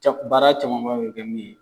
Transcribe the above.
Ca, baara camanba bɛ kɛ min ye.